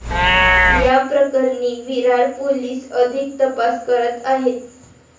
या प्रकरणी विरार पोलीस अधिक तपास करत आहेत.